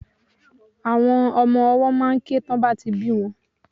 Omo owó máà ń ké tí wón bá ti bí won